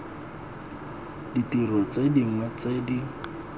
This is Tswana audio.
ditiro tse dingwe tse di